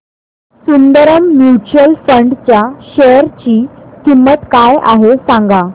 Sundaram mutual fund च्या share ची किंमत काय आहे सांगा